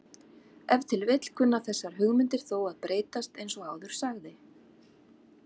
Ef til vill kunna þessar hugmyndir þó að breytast eins og áður sagði.